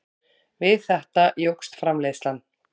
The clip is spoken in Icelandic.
Við þetta jókst framleiðslan.